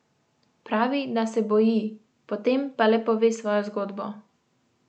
Pravi, da se boji, potem pa le pove svojo zgodbo.